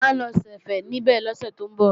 À ń lọ ṣẹ̀fẹ̀ níbẹ̀ lọ́sẹ̀ tó ń bọ̀